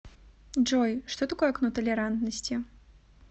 джой что такое окно толерантности